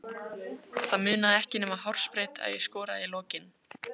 Það munaði ekki nema hársbreidd að ég skoraði í lokin.